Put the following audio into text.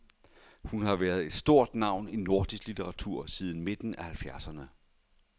Hun har været et stort navn i nordisk litteratur siden midten af halvfjerdserne.